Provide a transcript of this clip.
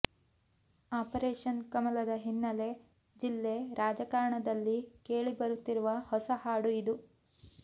operation ಕಮಲದ ಹಿನ್ನೆಲೆ ಜಿಲ್ಲೆ ರಾಜಕಾರಣದಲ್ಲಿ ಕೇಳಿ ಬರುತ್ತಿರುವ ಹೊಸ ಹಾಡು ಇದು